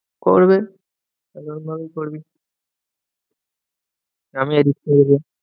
করবে এরম ভাবেই করবি। আমি edit করে দেব।